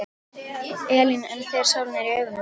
Elín: En þegar sólin er í augun?